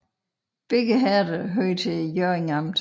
Begge herreder hørte til Hjørring Amt